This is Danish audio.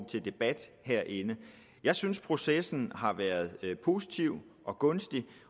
til debat herinde jeg synes processen har været positiv og gunstig